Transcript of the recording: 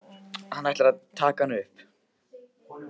Hann ætlar að taka hana upp.